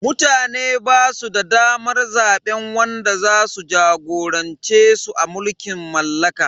Mutane basu da damar zaben wanda zasu jagorance su a mulkin mallaka.